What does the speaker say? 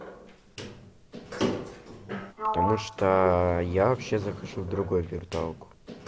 потому что я вообще захожу в другой виртуалку